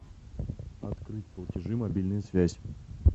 открыть платежи мобильная связь